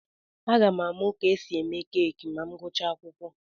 Aga m amụ ka esi eme keeki ma m gụchaa akwụkwọ.